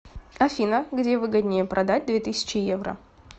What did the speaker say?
афина где выгоднее продать две тысячи евро